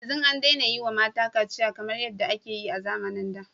Yanzu an daina yi wa mata kaciya kamar yadda ake yi a zamanin da.